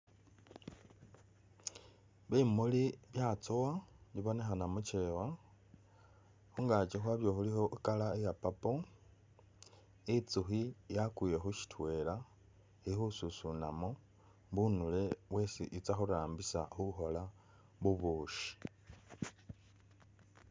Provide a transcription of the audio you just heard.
Bimuli byatsowa bibonekhana muchewa, khungaki khwabyo khulikho i'colour ya purple, i'nzukhi yakwile khusitwela ili khususunamo bunule bwesi i'tsa khurambisa khukhoola bubushi